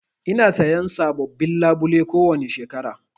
Ina sayan sabobbin labule kowani shekara.